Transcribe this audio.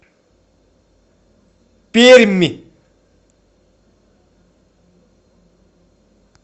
пермь